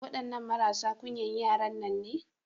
Waɗannan marasa ƙunyan yaran nan ne.